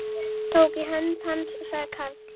Tók í hönd hans og sagði Karl